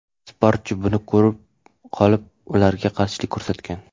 Sportchi buni ko‘rib qolib, ularga qarshilik ko‘rsatgan.